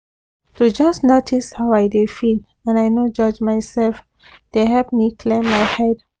to just notice how i dey feel and i no judge myself dey help me clear my head